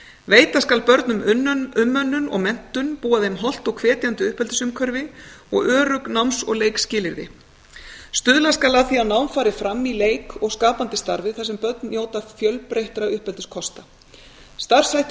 veita skal börnum umönnun og menntun búa þeim hollt og hvetjandi uppeldisumhverfi og örugg náms og leikskilyrði stuðla skal að því að nám fari fram í leik og skapandi starfi þar sem börn njóta fjölbreyttra uppeldiskosta starfshættir